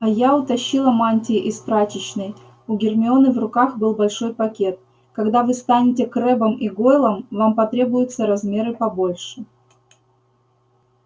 а я утащила мантии из прачечной у гермионы в руках был большой пакет когда вы станете крэббом и гойлом вам потребуются размеры побольше